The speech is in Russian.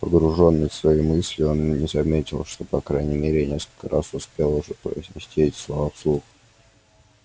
погруженный в свои мысли он и не заметил что по крайней мере несколько раз успел уже произнести эти слова вслух